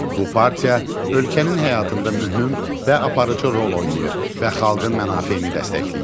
Bu partiya ölkənin həyatında mühüm və aparıcı rol oynayır və xalqın mənafeyini dəstəkləyir.